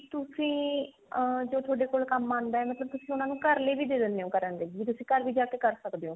ਤੁਸੀਂ ਅਮ ਜੋ ਥੋਡੇ ਕੋਲ ਕੰਮ ਆਉਂਦਾ ਤੇ ਤੁਸੀਂ ਉਹਨਾ ਨੂੰ ਘਰ ਲਈ ਵੀ ਦੇ ਦਿੰਦੇ ਹੋ ਕਰਨ ਲਈ ਵੀ ਤੁਸੀਂ ਘਰ ਵੀ ਜ ਕੇ ਕਰ ਸਕਦੇ ਹੋ